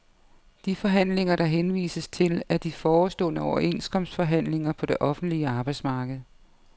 De forhandlinger, der henvises til, er de forestående overenskomstforhandlinger på det offentlige arbejdsmarked.